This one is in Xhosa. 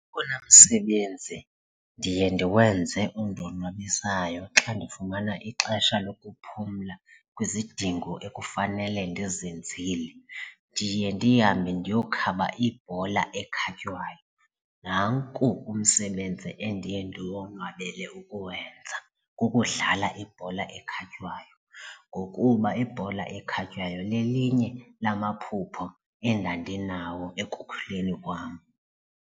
Owona msebenzi ndiye ndiwenze ondonwabisayo xa ndifumana ixesha lokuphumla kwizidingo ekufanele ndizenzile ndiye ndihambe ndiyokhaba ibhola ekhatywayo, nanku umsebenzi endiye ndiwonwabele ukuwenza kukudlala ibhola ekhatywayo ngokuba ibhola ekhatywayo lelinye lamaphupha endandinawo ekukhuleni kwam.